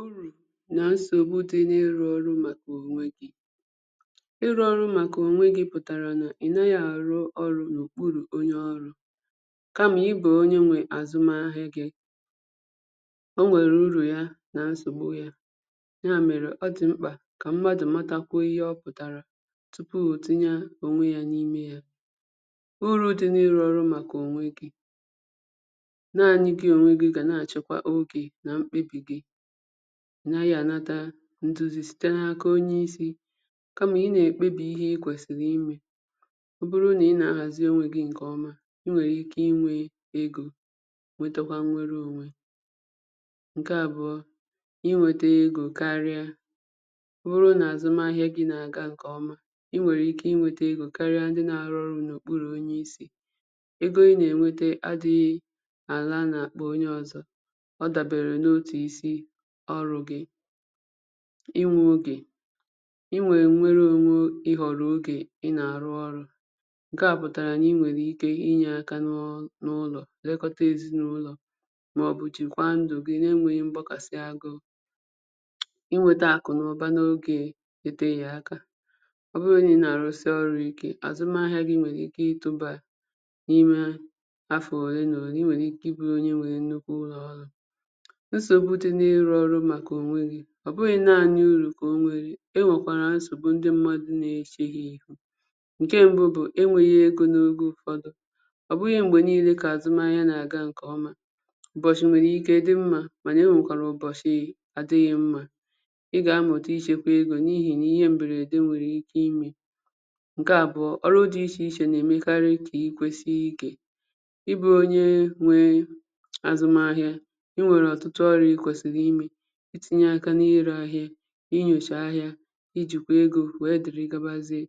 Urù nà nsogbù dị̀ na-ịrụ̀ ọrụ̀ màkà onwè gì, Ịrụ̀ màkà onwè gì pụtarà nà ị naghị̀ arụ̀ ọrụ̀ n’okpurù onyè ọrụ̀ kamà ị bụ̀ onyè nwè azụmà ahịà gị̀ O nwerè urù yà nà nsogbù yà Ya merè ọ dị̀ m̄kpà kà mmadụ̀ màtàkwà ihe ọ pụ̀tarà tupu o tinyè onwè yà n’ime yà Urù dị̀ n’ịrụ̀ ọrụ̀ màkà onwè gi naanị̀ gị̀ onwè gị̀ ga na-achọkwà ogè nà m̄kpebì gị̀ Ị naghị̀ anatà ntuzì sitē n’aka onyè isi kamà ị na-ekpebì ihe i kwesirì imè Ọ bụrụ̀ nà ị na-ahazì onwè gì nkè ọmà i nwerè ike inwè egō nwetakwà nnwerè onwè Nkè abụọ̀ inwetà egōkarịà Ọ bụrụ̀ nà azụ̀mà ahịà gị̀ na-agà nkè ọmà i nwerè ike inwetà egò karịà ndị̀ na-arụ̀ ọrụ̀ n’okpurù onye isi egō ị na-enwetà adịghì alà n’àkpà onyè ọzọ̀ Ọ daberè n’otù isi orụ̀ gị̀ inwerè onwè ịhọrọ̀ ogè ị na-arụ̀ ọrụ̀ Nke à pụtarà nà inwerè ike inyè aka na n’ụlọ̀ lekotà ezinaụlọ̀ maọ̀bụ̀ chekwà ndụ̀ gị̀ na-enweghì m̄gbakàsị̀ agụ̀ Inwetà akụ̀ nà ụbà na-eteghì aka Ọ bụrụ̀ nà ị na-arụsị̀ ọrụ̀ ike azụmà ahịà gị̀ nwerè ike ịtụbà n’afọ̀ olè nà olè I nwerè ike ịbụ̀ onyè nwerè nnukwù ụlọ̀ ọrụ̀ Nsogbù dị̀ n’ịrụ̀ ọrụ̀ màkà onwè gì ọ bụghị̀ naanị̀ urù kà o nwerè enwekwarà nsogbù ndị̀ mmadụ̀ na- echè hà ihù Nkè mbụ̀ bụ̀ enweghì egō n’ogè ụfọdụ̀ Ọ bụghị̀ m̄gbè nine kà azụmà ahịà na-agà nkè ọmà Ụbọchị̀ nwerè ike dị̀ mmà manà enwekwarà ụbọchị̀ adịghị̀ mmà Ị ga-amụtà ichekwà egō n’ihì nà ihe mberedè nwere ike imè Nkè abụọ̀ ọrụ̀ dị̀ iche ichè na-emekarì kà ikwesià ike Ị bụrụ̀ onyè nwè azụmà ahịà i nwerè ọtụtụ ọrịà i kwesirì imè itinyè aka n’ire ahịà inyochà ahịà ijikwà egō wee dịrị̀ gabàzịà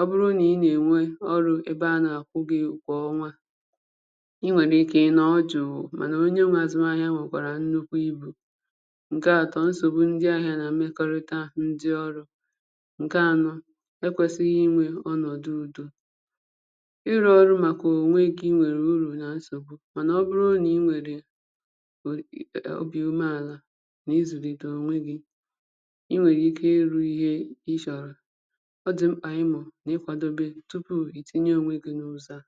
Ọ bụrụ̀ nà ị na-enwè ọrụ̀ ebè a na-akwụ̀ gị̀ ụgwọ̀ kwà ọnwà I nwerè ike ịnọ̀ jụụ manà onyè mà azụmà ahịà nwekwarà nnukwù ibù Nkè atọ̀ nsogbù ndị̀ ahịà nà mmekọrịtà ndị̀ ọrụ̀ Nkè anọ̀ ekwesighì inwè ọnọ̀dụ̀ udò Ịrụ̀ ọrụ̀ màkà onwè gì nwerè urù nà nsogbù manà ọ bụrụ̀ nà i nwerè um obì ume àlà n’izulitè onwè gì i nwerè ike ịrụ̀ ihe ịchọrọ̀ Ọ dị̀ m̄kpà ị mụ̀ n’ikwadò tupù itinyè onwè gì n’ụzọ̀ à